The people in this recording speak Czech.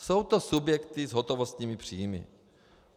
Jsou to subjekty s hotovostními příjmy.